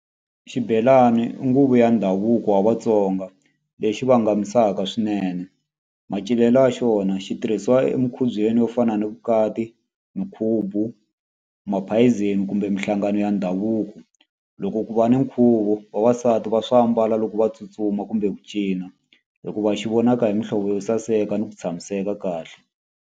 Xibelani i nguvu ya ndhavuko wa Vatsonga lexi vangamisaka swinene macinelo ya xona xi tirhisiwa emukhubyeni yo fana na vukati minkhubu, maphayizeni kumbe mihlangano ya ndhavuko loko ku va ni nkhuvo vavasati va swa ambala loko va tsutsuma kumbe ku cina hikuva xi vonaka hi muhlovo yo saseka ni ku tshamiseka kahle.